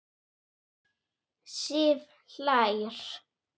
Sif hlær.